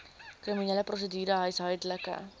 kriminele prosedure huishoudelike